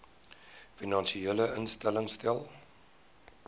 finansiële instellings stel